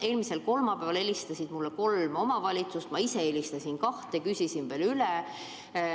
Eelmisel kolmapäeval helistasid mulle kolm omavalitsust, ma ise helistasin kahte, küsisin veel üle.